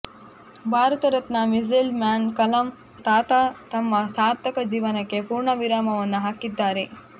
Bharat Ratna missile man Kalam ತಾತ ತಮ್ಮ ಸಾರ್ಥಕ ಜೀವನಕ್ಕೆ ಪೂರ್ಣವಿರಾಮವನ್ನು ಹಾಕಿದ್ದಾರೆ